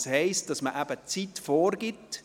Das heisst, dass man eben die Zeit vorgibt.